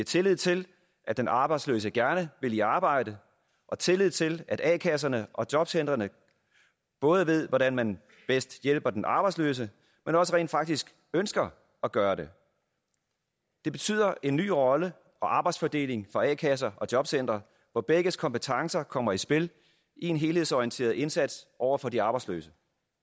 tillid til at den arbejdsløse gerne vil i arbejde og tillid til at a kasserne og jobcentrene både ved hvordan man bedst hjælper den arbejdsløse men også rent faktisk ønsker at gøre det det betyder en ny rolle og arbejdsfordeling for a kasser og jobcentre hvor begges kompetencer kommer i spil i en helhedsorienteret indsats over for de arbejdsløse